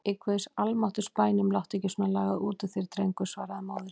Í guðs almáttugs bænum láttu ekki svona lagað út úr þér drengur, svaraði móðirin.